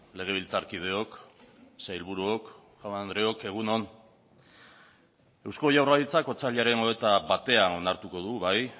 legebiltzarkideok sailburuok jaun andreok egun on eusko jaurlaritzak otsailaren hogeita batean onartuko du bai